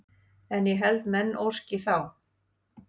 En ég held menn óski þá